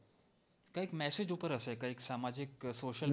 કંઈક મેસેજ ઉપર હશે કંઈક સામાજિક કે social